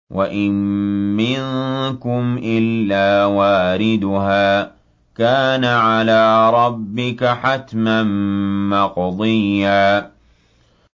وَإِن مِّنكُمْ إِلَّا وَارِدُهَا ۚ كَانَ عَلَىٰ رَبِّكَ حَتْمًا مَّقْضِيًّا